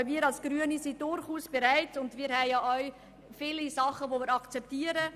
Auch wir als Grüne sind durchaus bereit zu sparen, und es gibt auch viele Massnahmen, die wir akzeptieren.